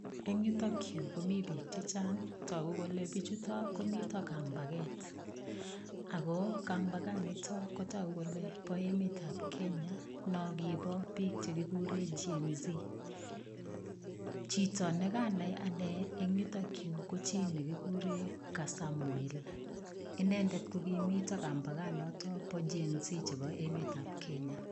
Eng yutok yu komi biik che chang. Tagu kole biichuto komito kambaget. Ago kambaganito kotagu kole bo emetab Kenya nokibo che kikuren Gen-z. Chito ne kanai anne en yutok yu ko chinekikuren Kasamwel. Inendet ko kimito kambaganotobo Gen-z chebo emetab Kenya.